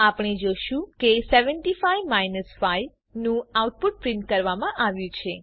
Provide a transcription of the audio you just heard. આપણે જોશું કે 75 5 નું આઉટપુટ પ્રિન્ટ કરવામાં આવ્યું છે